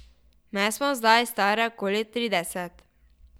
Me smo zdaj stare okoli trideset.